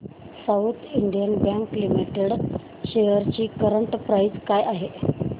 south Indian bank limited shares ची current price काय आहे